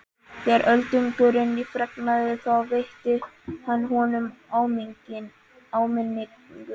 Þegar Öldungurinn fregnaði það veitti hann honum áminningu.